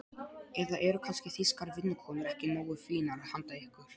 Eða eru kannski þýskar vinnukonur ekki nógu fínar handa ykkur?